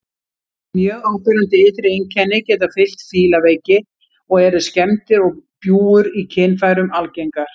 Mjög áberandi ytri einkenni geta fylgt fílaveiki og eru skemmdir og bjúgur í kynfærum algengar.